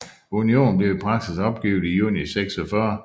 Unionen blev i praksis opgivet i juni 1946